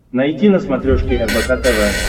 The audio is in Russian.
найти на смотрешке рбк тв